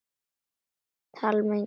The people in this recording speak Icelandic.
Talningu lýkur ekki í dag